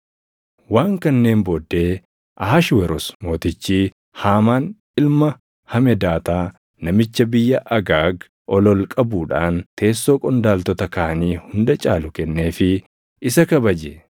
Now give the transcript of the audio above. Waan kanneen booddee Ahashweroos Mootichi Haamaan ilma Hamedaataa namicha biyya Agaag ol ol qabuudhaan teessoo qondaaltota kaanii hunda caalu kenneefii isa kabaje.